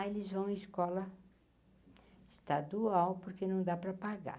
Aí eles vão em escola estadual, porque não dá para pagar.